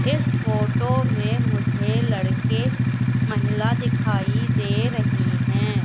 इस फोटो में मुझे लड़के महिला दिखाई दे रही हैं।